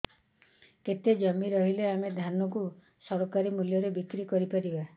କେତେ ଜମି ରହିଲେ ଆମେ ଧାନ କୁ ସରକାରୀ ମୂଲ୍ଯରେ ବିକ୍ରି କରିପାରିବା